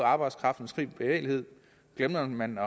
arbejdskraftens frie bevægelighed glemte man